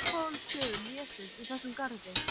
Annar af uppáhaldsstöðum Vésteins í þessum garði.